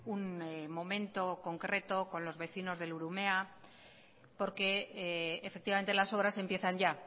un momento concreto con los vecinos del urumea porque efectivamente las obras empiezan ya